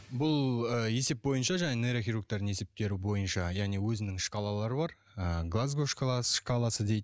бұл ы есеп бойынша жаңағы нейрохирургтардың есептері бойынша яғни өзінің шкалалары бар ыыы шкаласы дейді